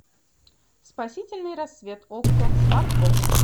спасительный рассвет окко смарт бокс